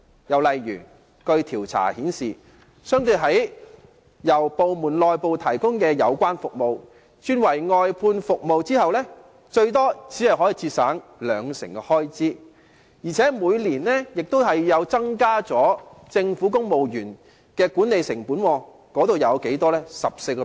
又例如，據調查顯示，由政府部門內部提供的有關服務轉為外判服務後，最多只可節省兩成的開支，而且亦會增加政府每年的管理成本，這成本是多少呢？